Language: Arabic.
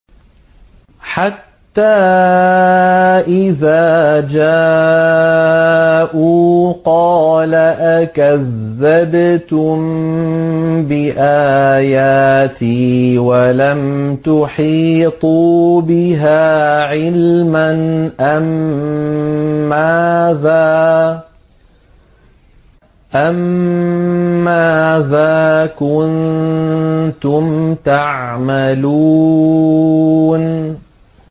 حَتَّىٰ إِذَا جَاءُوا قَالَ أَكَذَّبْتُم بِآيَاتِي وَلَمْ تُحِيطُوا بِهَا عِلْمًا أَمَّاذَا كُنتُمْ تَعْمَلُونَ